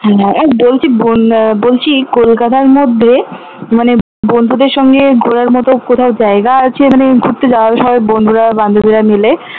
হ্যাঁ এই বলছি আহ বলছি কলকাতার মধ্যে মানে বন্ধুদের সাথে ঘোরার মত কোথাও জায়গা আছে মানে ঘুরতে যাওয়ার সবাই বন্ধুরা বান্ধবীরা মিলে